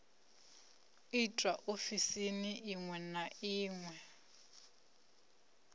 itwa ofisini iṅwe na iṅwe